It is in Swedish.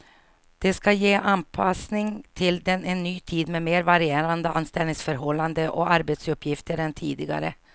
Det ska ge en anpassning till en ny tid med mer varierande anställningsförhållanden och arbetsuppgifter än tidigare.